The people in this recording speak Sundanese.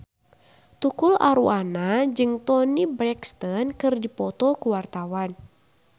Tukul Arwana jeung Toni Brexton keur dipoto ku wartawan